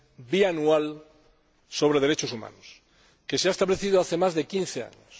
Bianual sobre Derechos Humanos, que se ha establecido hace más de quince años.